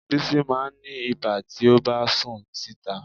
Bísí máa ń ní ibà tí ó bá sùn síta